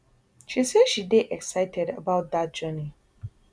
she say she dey excited about dat journey